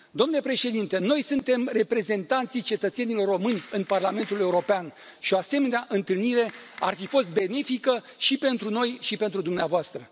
Domnule Președinte, noi suntem reprezentanții cetățenilor români în Parlamentul European, și o asemenea întâlnire ar fi fost benefică și pentru noi și pentru dumneavoastră.